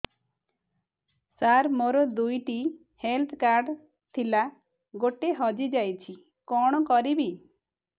ସାର ମୋର ଦୁଇ ଟି ହେଲ୍ଥ କାର୍ଡ ଥିଲା ଗୋଟେ ହଜିଯାଇଛି କଣ କରିବି